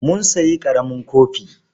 Mun sayi ƙaramin kofi.